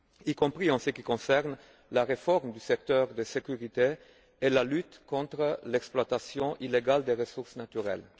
y compris en ce qui concerne la réforme du secteur de la sécurité et la lutte contre l'exploitation illégale des ressources naturelles.